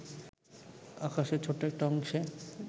আকাশের ছোট্ট একটা অংশে